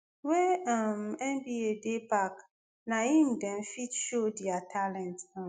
wey um nba dey back na im dem fit show dia talents. um